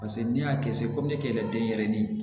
Paseke n'i y'a kɛ sepiye yɛrɛ denyɛrɛnin